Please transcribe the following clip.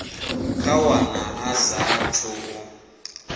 kha wana a saathu u